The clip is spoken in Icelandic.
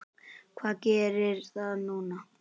Hvað gerir það núna?